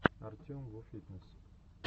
артемвуфитнесс